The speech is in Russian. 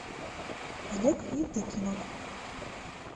олег евдокимов